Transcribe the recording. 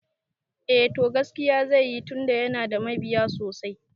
Eh to, gaskiya zai yi tunda yana da mabiya sosai